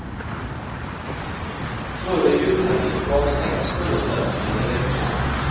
Före julhelgen gavs sex föreställningar i veckan.